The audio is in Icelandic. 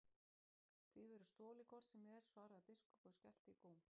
Því verður stolið hvort sem er, svaraði biskup og skellti í góm.